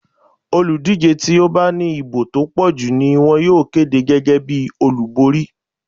Olùdíje tí ó bá ní ìbò tó pọ̀jù ni wón yóò kéde gẹ́gẹ́ bí olúborín.